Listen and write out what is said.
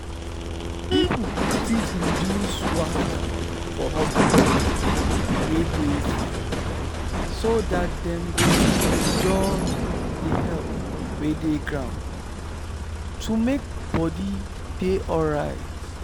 people fit reduce wahala for hospital wey dey far so that dem go fit enjoy the help wey dey ground to make body dey alright.